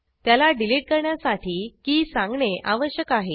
त्याला डिलिट करण्यासाठी की सांगणे आवश्यक आहे